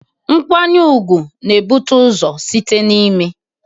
Nkwanyere ugwu na-ebute ụzọ site n'ime